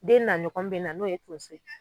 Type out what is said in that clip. Den na ɲɔgɔn bɛ na n'o ye tonso ye.